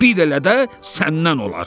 bir elə də səndən olar.